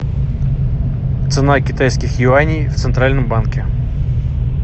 цена китайских юаней в центральном банке